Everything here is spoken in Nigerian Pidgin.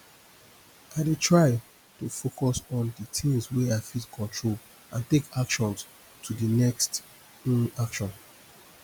i dey try to focus on di things wey i fit control and take actions to di next um action